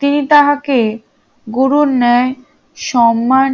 তিনি তাহাকে গুরুর ন্যায় সম্মান